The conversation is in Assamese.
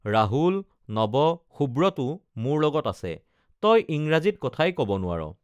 ৰাহুল নৱ সুব্ৰতো মোৰ লগত আছে তই ইংৰাজীত কথাই কব নোৱাৰ